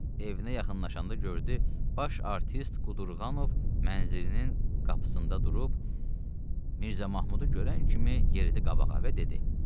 Evinə yaxınlaşanda gördü, baş artist Qudurqanov mənzilinin qapısında durub, Mirzə Mahmudu görən kimi yeridi qabağa və dedi: